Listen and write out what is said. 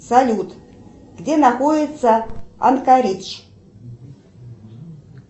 салют где находится анкаридж